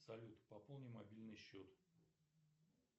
салют пополни мобильный счет